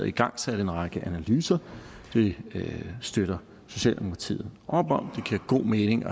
igangsat en række analyser det støtter socialdemokratiet op om det giver god mening